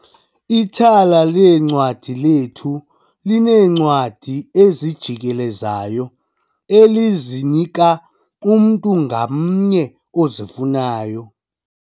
Ithala leencwadi lethu lineencwadi ezijikelezayo elizinika umntu ngamnye ozifunayo.